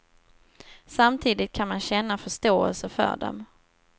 Samtidigt kan man känna förståelse för dem.